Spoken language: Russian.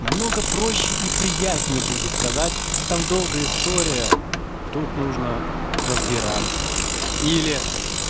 намного проще и приятней будет сказать там долгая история тут нужно разбираться или